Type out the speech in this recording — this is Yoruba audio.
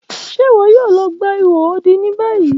Ṣe iwọ yoo lọ gba iho odi ni bayi?